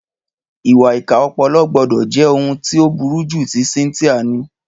Ìwà ìkà ọpọlọ gbọ́dọ̀ jẹ́ ohun tí ó burú jù tí Cynthia ní.